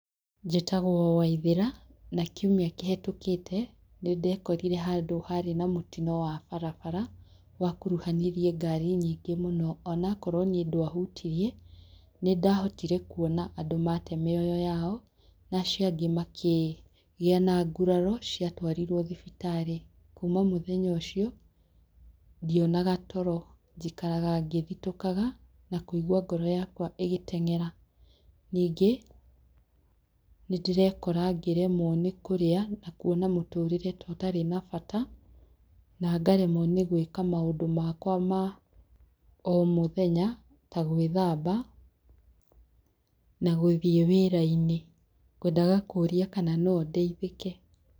Njĩtagwo Waithera na kiumia kĩhetũkĩte nĩndekorire handũ harĩ na mũtino wa barabara wakuruhanirie ngari nyingĩ mũno, onakorwo nĩĩ ndwahutirie nĩndahotire kuona andũ mate mĩoyo yao na acio angĩ makĩgĩa na nguraro cia twarirwo thibitarĩ kuma mũthenya ũcio ndionaga toro njikaraga ngĩthitũkaga na ngaigwa ngoro yakwa ĩgĩteng'era. Ningĩ nĩndĩrekora ngĩremwo nĩ kũrĩa na ngona mũtũrĩre ta ũtarĩ na bata na ngaremwo nĩ gwĩka maũndũ makwa ma o mũthenya ta gwĩthamba na gũthie wĩra-inĩ. Ngwendaga kũria kana no ndeithĩke?